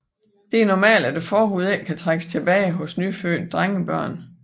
Det er normalt at forhuden ikke kan trækkes tilbage hos nyfødte drengebørn